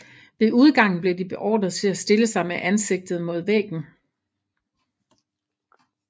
Ved udgangen blev de beordret til at stille sig med ansigtet mod væggen